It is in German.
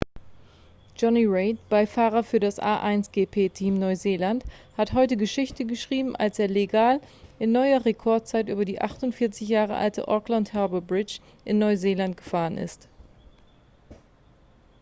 jonny reid beifahrer für das a1gp-team neuseeland hat heute geschichte geschrieben als er legal in neuer rekordzeit über die 48 jahre alte auckland harbour bridge in neuseeland gefahren ist